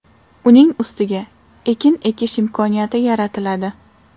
Uning ustiga ekin ekish imkoniyati yaratiladi.